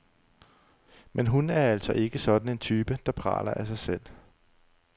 Men hun er altså ikke sådan en type, der praler af sig selv.